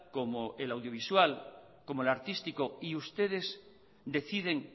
como el audiovisual como el artístico y ustedes deciden